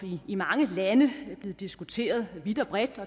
i mange lande og er blevet diskuteret vidt og bredt